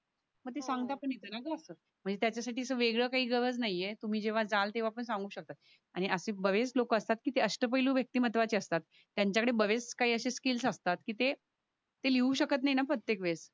मग त्याच्या साठी अस वेगळ काही गरज नाही ये तुम्ही जेवा जल तेवा पण सांगू शकता आणि असे बरेच लोक असतात जे अष्ट पहिलू व्यक्ती महत्वाचे असतात. त्यांच्या कडे बरेच असे काही स्किल्स असतात कि ते लिहू शकत नाही ना प्रत्येक वेळेस